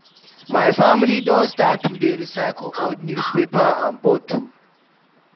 My family don start to dey recycle old newspaper and bottle.